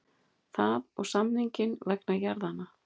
Það og samninginn vegna jarðanna.